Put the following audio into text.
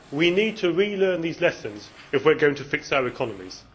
We need to relearn these lessons if we are going to fix our economies.